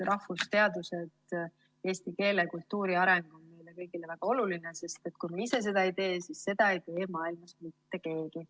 Rahvusteadused, eesti keele ja kultuuri areng on meile kõigile väga olulised, sest kui meie ise sellega ei tegele, siis seda ei tee maailmas mitte keegi.